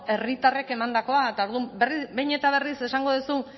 herritarrek emandakoa eta orduan behin eta berriz esango duzu